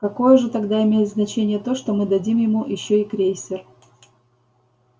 какое же тогда имеет значение то что мы дадим ему ещё и крейсер